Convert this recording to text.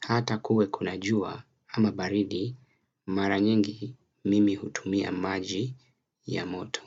Hata kuwe kuna jua ama baridi mara nyingi mimi hutumia maji ya moto.